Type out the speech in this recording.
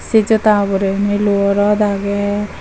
say juda ogorendi luo rot agey.